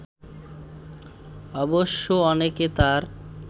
অবশ্য অনেকে তার